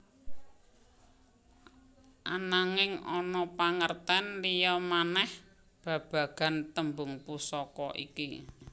Ananging ana pangertén liya manèh babagan tembung Pusaka iki